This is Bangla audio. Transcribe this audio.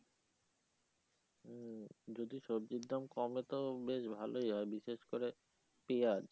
হম যদি সবজির দাম কমে তো বেশ ভালোই হয় বিশেষ করে পিঁয়াজ